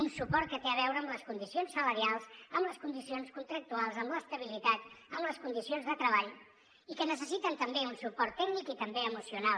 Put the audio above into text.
un suport que té a veure amb les condicions salarials amb les condicions contractuals amb l’estabilitat en les condicions de treball i que necessiten també un suport tècnic i també emocional